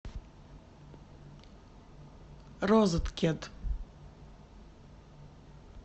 розеткед